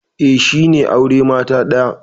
Eh, shi ne aure mata daya.